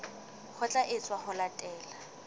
ho tla etswa ho latela